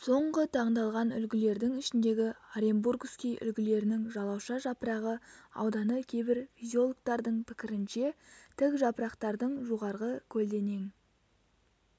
соңғы таңдалған үлгілердің ішіндегі оренбургский үлгілерінің жалауша жапырағы ауданы кейбір физиологтардың пікірінше тік жапырақтардың жоғарғы көлденең